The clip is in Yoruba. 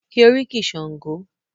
Ki oríkì Sango!